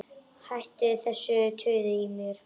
Hættu þessu tuði í mér.